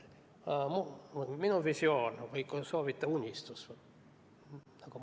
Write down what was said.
Mul on visioon või kui soovite, unistus.